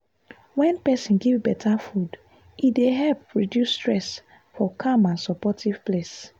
wen person give better food e dey help reduce stress for calm and supportive place.